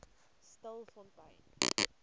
stilfontein